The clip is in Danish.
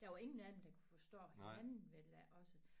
Der var ingen af dem kunne forstå hinanden vel da også